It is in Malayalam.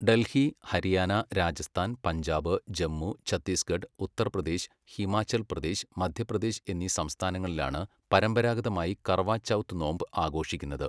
ഡൽഹി, ഹരിയാന, രാജസ്ഥാൻ, പഞ്ചാബ്, ജമ്മു, ഛത്തീസ്ഗഡ്, ഉത്തർപ്രദേശ്, ഹിമാചൽ പ്രദേശ്, മധ്യപ്രദേശ് എന്നീ സംസ്ഥാനങ്ങളിലാണ് പരമ്പരാഗതമായി കർവ ചൗത്ത് നോമ്പ് ആഘോഷിക്കുന്നത്.